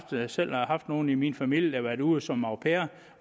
selv haft nogle i min familie der har været ude som au pair